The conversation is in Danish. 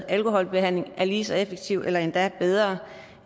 alkoholbehandling er lige så effektiv eller endda bedre